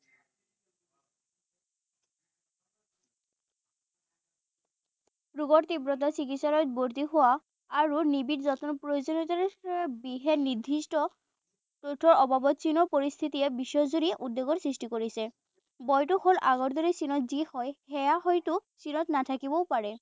ৰোগৰ তীব্ৰতৰ চিকিসালয়ত ভৰ্ত্তি হোৱা আৰু নিবিৰ যত্নৰ প্ৰয়োজনীয়তাৰে বিশেষ নিৰ্দ্দিষ্ট অভাৱত চীনৰ পৰিস্থিতিয়ে বিশ্বজুৰি উদ্বেগৰ সৃষ্টি কৰিছে। ভয়তো হল আগৰ দৰে চীনত যি হয়, সেয়া হয়তো চীনত নাথাকিবও পাৰে।